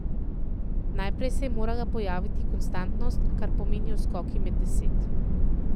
Najprej se je morala pojaviti konstantnost, kar pomenijo skoki med deset.